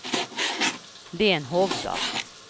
Lenhovda